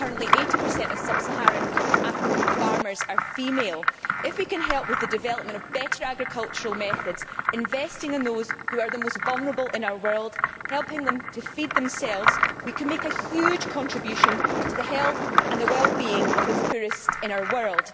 currently 80 of sub Saharan African farmers are female. If we can help with the development of better agricultural methods, investing in those who are the most vulnerable in our world, helping them to feed themselves, we can make a huge contribution to the health and the wellbeing of the poorest in our world.